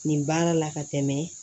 Nin baara la ka tɛmɛ